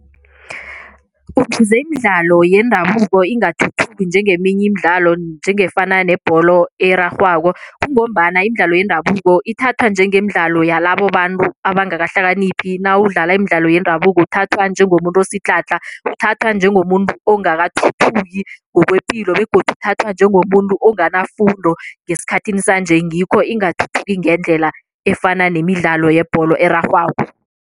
Ukuze imidlalo yendabuko ingathuthuki njengeminye imidlalo njengefana nebholo erarhwako kungombana imidlalo yendabuko ithathwa njengemidlalo yalabobantu abangakahlakaniphi nawudlala imidlalo yendabuko uthathwa njengomuntu osidlhadlha, uthathwa njengomuntu ongakathuthuki ngokwepilo begodu uthathwa njengomuntu onganafundo ngesikhathini sanje ngikho ingathuthuki ngendlela efana nemidlalo yebholo erarhwako.